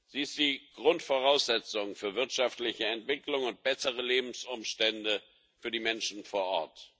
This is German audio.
Sie ist die Grundvoraussetzung für wirtschaftliche Entwicklung und bessere Lebensumstände für die Menschen vor Ort.